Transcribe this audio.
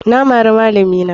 Na mari malami na.